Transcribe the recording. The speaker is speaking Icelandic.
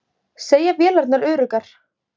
Segja vélarnar öruggar